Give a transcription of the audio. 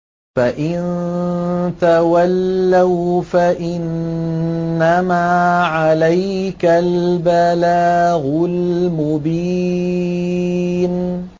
فَإِن تَوَلَّوْا فَإِنَّمَا عَلَيْكَ الْبَلَاغُ الْمُبِينُ